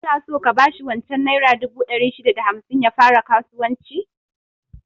Kana so ka bashi wancan naira dubu ɗari shida da hamsin ya fara kasuwanci?